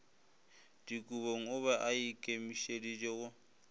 dikobong o be aikemišeditše go